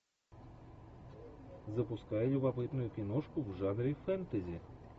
запускай любопытную киношку в жанре фэнтези